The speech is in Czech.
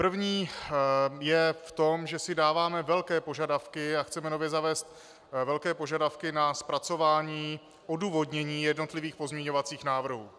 První je v tom, že si dáváme velké požadavky a chceme nově zavést velké požadavky na zpracování odůvodnění jednotlivých pozměňovacích návrhů.